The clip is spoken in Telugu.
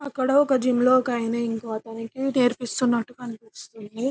అక్కడ ఒక జిమ్ లో ఒక అతను ఇంకో అతనికి నేర్పిస్తునట్టు కనిపిస్తుంది.